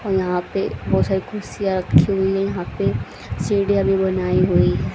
और यहां पे बहोत सारी कुर्सियां रखी हुई यहां पे सीढ़ियां भी बनाई हुई।